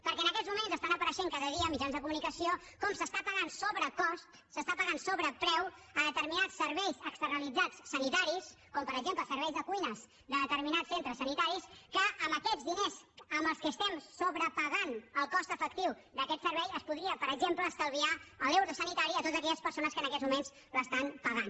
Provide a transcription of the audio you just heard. perquè en aquests moments està apareixent cada dia en mitjans de comunicació com s’està pagant sobrecost s’està pagant sobrepreu per determinats serveis externalitzats sanitaris com per exemple serveis de cuines de determinats centres sanitaris que amb aquests diners amb què estem sobrepagant el cost efectiu d’aquest servei es podria per exemple estalviar l’euro sanitari a totes aquelles persones que en aquests moments l’estan pagant